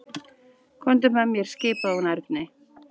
Komdu með mér skipaði hún Erni.